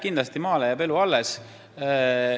Kindlasti jääb maal elu alles.